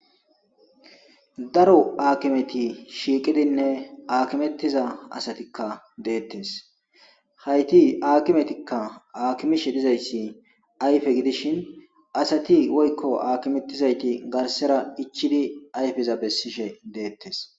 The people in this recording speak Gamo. Daro aakimeti shiiqidinne aakimettiza asatikka deettes hayti akimetikka akimishe dizayssi ayfe gidishin asati woykko akimettizayti garsera ichidi ayfeza bessishe deettes.